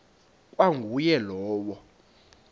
ikwa nguye lowo